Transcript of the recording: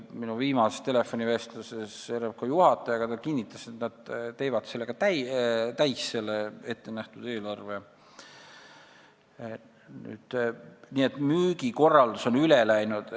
Minu viimasest telefonivestlusest RMK juhatajaga selgus, et nad teevad ettenähtud eelarve ka täis.